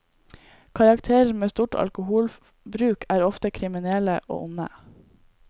Karakterer med stort alkoholbruk er ofte kriminelle og onde.